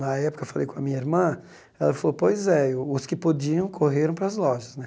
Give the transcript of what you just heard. Na época, falei com a minha irmã ela falou pois é os que podiam correram para as lojas né.